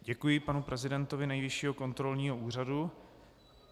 Děkuji panu prezidentovi Nejvyššího kontrolního úřadu.